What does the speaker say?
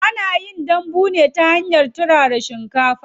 Ana yin dambu ne ta hanyar turara shinkafa.